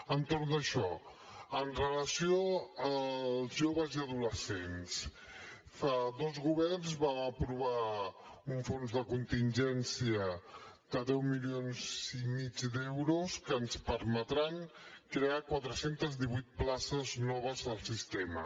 entorn d’això amb relació als joves i adolescents fa dos governs vam aprovar un fons de contingència de deu milions i mig d’euros que ens permetran crear quatre cents i divuit places noves al sistema